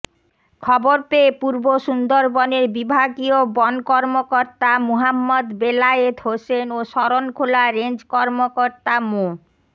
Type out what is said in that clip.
খবর পেয়ে পূর্ব সুন্দরবনের বিভাগীয় বন কর্মকর্তা মুহাম্মদ বেলায়েত হোসেন ও শরণখোলা রেঞ্জ কর্মকর্তা মো